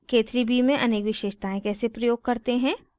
k3b में अनेक विशेषतायें कैसे प्रयोग करते हैं